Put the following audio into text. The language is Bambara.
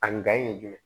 A ye jumɛn